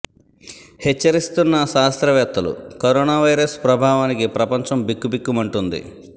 హెచ్చరిస్తున్న శాస్త్రవేత్తలు corona virus ప్రభావానికి ప్రపంచం బిక్కుబిక్కుమంటోంది